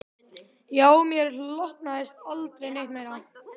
Já, mér hlotnaðist aldrei neitt meira.